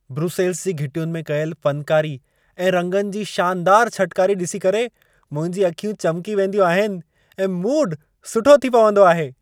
Brussels जी घिटियुनि में कयल फनकारी ऐं रंगनि जी शानदार छटकारी ॾिसी करे मुंहिंजूं अखियूं चमकी वेंदियूं आहिनि ऐं मूड सुठो थी पवंदो आहे।